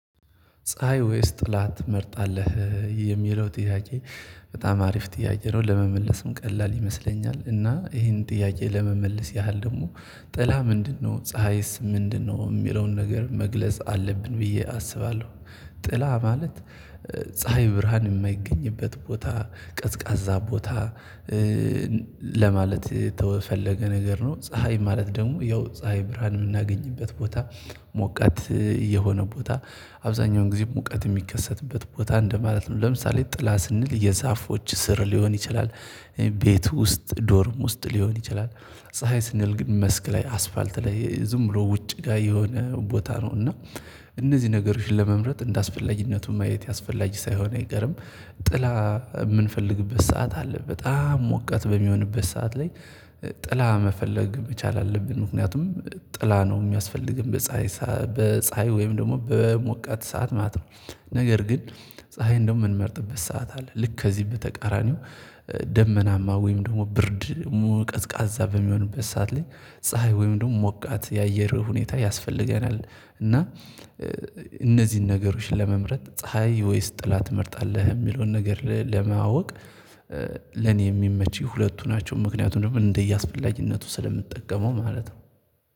ፀሀይ ወይስ ጥላ ትመርጣለህ የሚለው ጥያቄ? በጣም አሪፍ ጥያቄ ነው ለመመለስም ቀላል ይመስለኛል እና ይሄን ጥያቄ ለመመለስ ያህል ደግሞ ጥላ ምንድነው ፀሀይስ ምንድነው የሚለውን ነገር መግለጽ አለብን ብዬ አስባለሁ። ጥላ ማለት ፀሀይ ብርሃን የማይገኝበት ቦታ ቀዝቃዛ ቦታ ለማለት የተፈለገ ነገር ነው። ፀሀይ ማለት ደግሞ ያው ፀሀይ ብርሃን የምናገኝበት ቦታ ሞቃት የሆነ ቦታ አብዛኛውን ጊዜ ሙቀት የሚከሰትበት ቦታ እንደማለት ነው። ለምሳሌ ጥላ ስንል የዛፎች ስር ሊሆን ይችላል። ቤት ውስጥ ዶርም ውስጥ ሊሆን ይችላል። ፀሀይ ስንል ግን መስክ ላይ አስፋልት ላይ ዝም ብሎ ውጭ ጋር የሆነ ቦታ ነው። እና እነዚህ ነገሮችን ለመምረጥ እንደ አስፈላጊነቱ ማየት ያስፈልጋል ሳይሆን አይገርም። ጥላ የምንፈልግበት ሰዓት አለ በጣም ሞቃት በሚሆንበት ሰዓት ላይ ጥላ መፈለግ መቻል አለብን ምክንያቱም ጥላ ነው የሚያስፈልገን። በፀሀይ ወይም ደግሞ በሙቀት ሰዓት ማለት ነው። ነገር ግን ፀሀይ እንደው የምንመርጥበት ሰዓት አለ ልክ ከዚህ በተቃራኒው። ደመናማ ወይም ደግሞ ብርድ ቀዝቃዛ በሚሆንበት ሰዓት ላይ ፀሀይ ወይም ደግሞ ሞቃት የአየርህ ሁኔታ ያስፈልገናል። እና እነዚህን ነገሮች ለመምረጥ ፀሀይ ወይስ ጥላ ትመርጣለህ የሚለውን ነገር ለማወቅ ለኔ የሚመቸኝ ሁለቱ ናቸው። ምክንያቱም ደግሞ እንደ እያስፈላጊነቱ ስለምጠቀመው ማለት ነው